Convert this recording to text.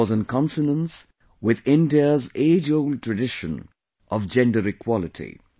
This was in consonance with India's ageold tradition of Gender Equality